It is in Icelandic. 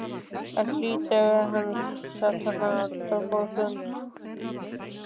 Það var hlýtt svo hann sat þar í dágóða stund.